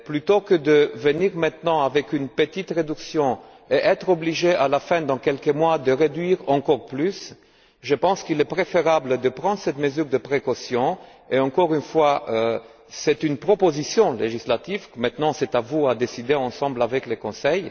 Plutôt que de venir maintenant avec une petite réduction et être obligé à la fin, dans quelques mois, de réduire encore plus, je pense qu'il est préférable de prendre cette mesure de précaution et je rappelle que c'est une proposition législative et que c'est à vous de décider avec le Conseil.